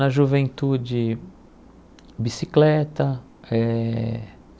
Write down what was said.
Na juventude, bicicleta. Eh